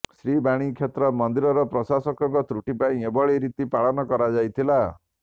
ଶ୍ରୀବାଣୀ କ୍ଷେତ୍ର ମନ୍ଦିର ପ୍ରଶାସକଙ୍କ ତ୍ରୁଟି ପାଇଁ ଏଭଳି ରୀତି ପାଳନ କରାଯାଇଥିଲା